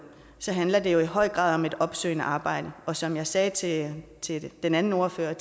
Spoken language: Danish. handler det i høj grad om et opsøgende arbejde og som jeg sagde til til den anden ordfører